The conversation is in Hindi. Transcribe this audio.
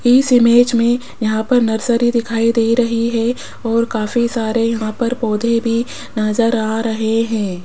इस इमेज मे यहां पर नर्सरी दिखाई दे रही है और काफी सारे यहां पर पौधे भी नज़र आ रहे है।